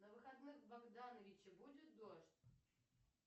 на выходных в богдановиче будет дождь